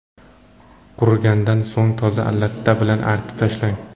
Qurigandan so‘ng toza latta bilan artib tashlang.